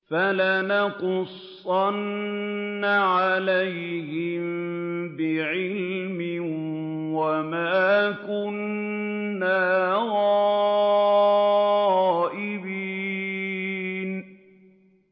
فَلَنَقُصَّنَّ عَلَيْهِم بِعِلْمٍ ۖ وَمَا كُنَّا غَائِبِينَ